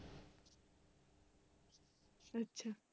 ਅੱਛਾ।